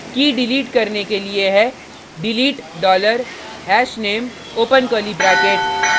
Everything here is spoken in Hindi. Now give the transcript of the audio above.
कीkey डिलीट करने के लिए है delete dollar hashname open curly bracket